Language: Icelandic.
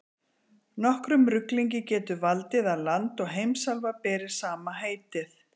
Nokkrum ruglingi getur valdið að land og heimsálfa beri sama heitið.